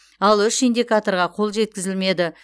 ал үш индикаторға қол жеткізілмеді